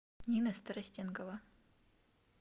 нина старостенкова